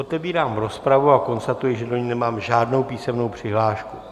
Otevírám rozpravu a konstatuji, že do ní nemám žádnou písemnou přihlášku.